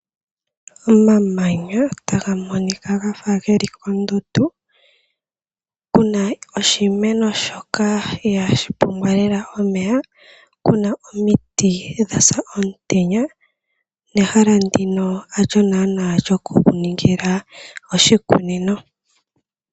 Omamanya taga monika gafa geli kondundu, kuna oshimeno shoka ihaa shi pumbwa lela omeya, kuna omiti dha sa omutenya nehala ndino ha lyo naaana lyo ku ningila oshikunino.